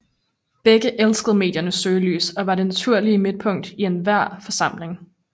Begge elskede mediernes søgelys og var det naturlige midtpunkt i enhver forsamling